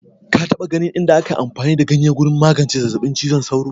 Ka taɓa ganin inda aka yi amfani da ganye wajen magance zazzabin cizon sauro?